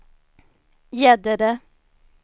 Gäddede